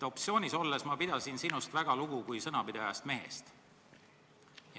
Opositsioonis pidasin ma sinust väga lugu kui sõnapidajast mehest.